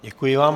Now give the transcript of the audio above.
Děkuji vám.